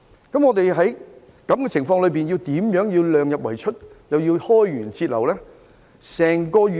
在這樣的情況之下，香港怎樣量入為出同時開源節流？